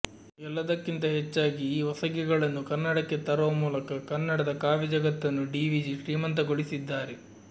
ಎಲ್ಲದಕ್ಕಿಂತ ಹೆಚ್ಚಾಗಿ ಈ ಒಸಗೆಗಳನ್ನು ಕನ್ನಡಕ್ಕೆ ತರುವ ಮೂಲಕ ಕನ್ನಡದ ಕಾವ್ಯ ಜಗತ್ತನ್ನೂ ಡಿವಿಜಿ ಶ್ರೀಮಂತಗೊಳಿಸಿದ್ದಾರೆ